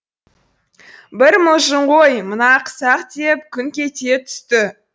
бір мылжың ғой мына ақсақ деп күңк ете түсті